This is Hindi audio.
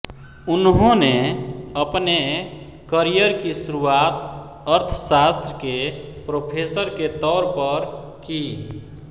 उन्होंने अपने करियर की शुरुआत अर्थसास्त्र के प्रोफ़ेसर के तौर पर की